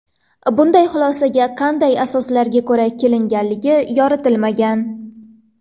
Bunday xulosaga qanday asoslarga ko‘ra kelinganligi yoritilmagan.